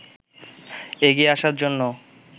এগিয়ে আসার জন্য